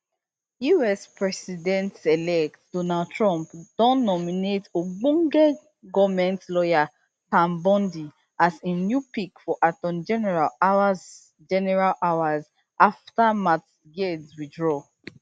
us presidentelect donald trump don nominate ogbonge goment lawyer pam bondi as im new pick for attorney general hours general hours afta matt gaetz withdraw